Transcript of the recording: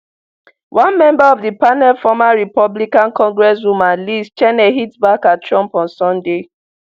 one member of di panel former republican congresswoman liz cheney hit back at trump on sunday